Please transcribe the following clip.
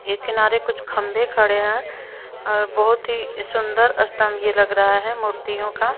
एक किनारे कुछ खंबे खड़े हैं और बोहोत ही सुंदर स्तंभ यह लग रहा है मूर्तियों का।